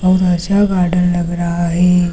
बहुत अच्छा गार्डन लग रहा है।